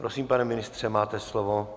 Prosím, pane ministře, máte slovo.